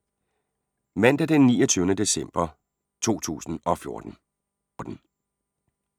Mandag d. 29. december 2014